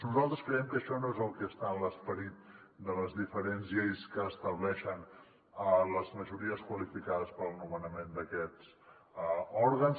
nosaltres creiem que això no és el que està en l’esperit de les diferents lleis que estableixen a les majories qualificades per al nomenament d’aquests òrgans